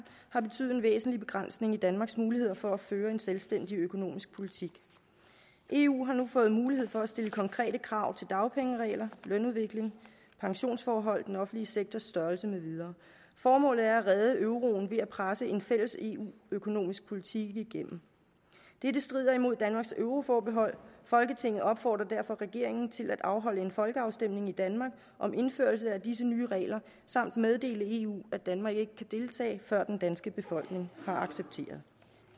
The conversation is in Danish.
har betydet en væsentlig begrænsning i danmarks muligheder for at føre en selvstændig økonomisk politik eu har nu fået mulighed for at stille konkrete krav til dagpengeregler lønudvikling pensionsforhold den offentlige sektors størrelse med videre formålet er at redde euroen ved at presse en fælles eu økonomisk politik igennem dette strider imod danmarks euroforbehold folketinget opfordrer derfor regeringen til at afholde en folkeafstemning i danmark om indførelse af disse nye regler samt meddele eu at danmark ikke kan deltage før den danske befolkning har accepteret